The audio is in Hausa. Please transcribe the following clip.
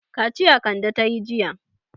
Kaciya Kande ta yi jiya.